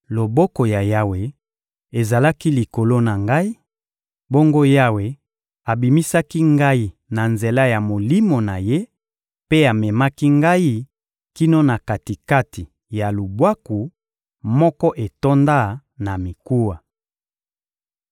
Loboko ya Yawe ezalaki likolo na ngai; bongo Yawe abimisaki ngai na nzela ya Molimo na Ye mpe amemaki ngai kino na kati-kati ya lubwaku moko etonda na mikuwa.